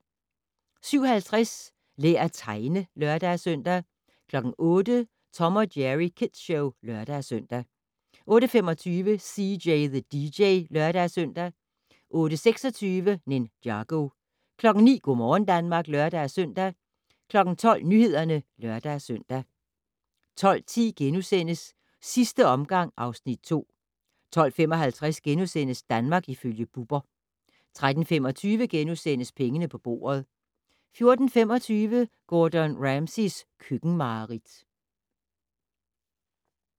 07:50: Lær at tegne (lør-søn) 08:00: Tom & Jerry Kids Show (lør-søn) 08:25: CJ the DJ (lør-søn) 08:26: Ninjago 09:00: Go' morgen Danmark (lør-søn) 12:00: Nyhederne (lør-søn) 12:10: Sidste omgang (Afs. 2)* 12:55: Danmark ifølge Bubber * 13:25: Pengene på bordet * 14:25: Gordon Ramsays køkkenmareridt